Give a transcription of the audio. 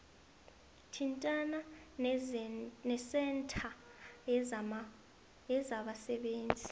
thintana nesentha yezabasebenzi